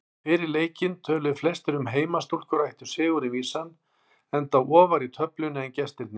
Fyrir leikinn töluðu flestir að heimastúlkur ættu sigurinn vísan enda ofar í töflunni en gestirnir.